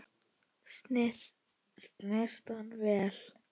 Snyrta vel.